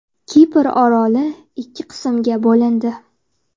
Kipr oroli ikki qismga bo‘lindi.